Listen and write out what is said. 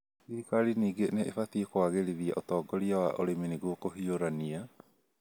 Thirikari ningĩ nĩ ĩbatie kũagĩrithia ũtongoria wa ũrĩmi nĩguo kũhiũrania